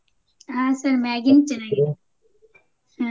ಹ್ಮ Sir Maggi ನು ಚೆನ್ನಾಗಿರುತ್ತೆ ಹ್ಮ.